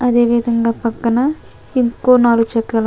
అదేవిదంగా పక్కన ఇంకో నాల్గు చెట్లు--